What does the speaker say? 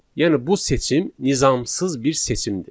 Yəni bu seçim nizamsız bir seçimdir.